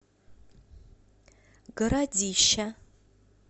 городища